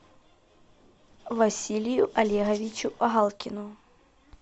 василию олеговичу галкину